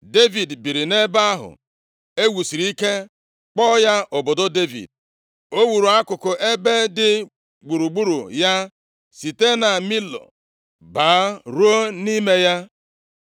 Devid biiri nʼebe ahụ e wusiri ike, kpọọ ya obodo Devid. O wuru akụkụ ebe dị gburugburu ya, site na Milo baa ruo nʼime ya.